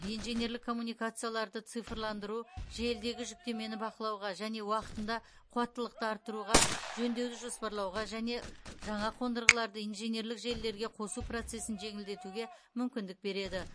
инженерлік коммуникацияларды цифрландыру желідегі жүктемені бақылауға және уақытында қуаттылықты арттыруға жөндеуді жоспарлауға және жаңа қондырғыларды инженерлік желілерге қосу процесін жеңілдетуге мүмкіндік береді